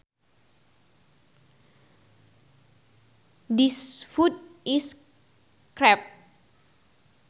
This food is crap